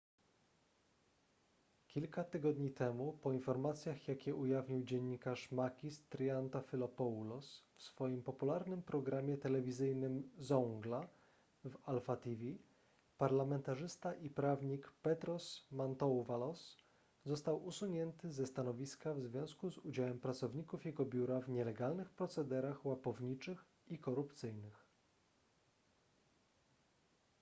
kilka tygodni temu po informacjach jakie ujawnił dziennikarz makis triantafylopoulos w swoim popularnym programie telewizyjnym zoungla w alpha tv parlamentarzysta i prawnik petros mantouvalos został usunięty ze stanowiska w związku z udziałem pracowników jego biura w nielegalnych procederach łapowniczych i korupcyjnych